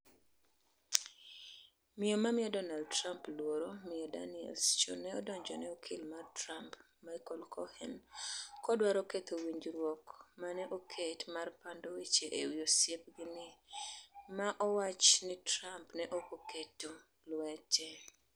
Miyo mamiyo Donald Trump luoro miyo Daniels chon ne odonjone okil mar Trump, Michael Cohen, kodwaro ketho winjruok mane oket mar pando weche ewi osiepgini, ma owach ni Trump ne ok oketo lwete.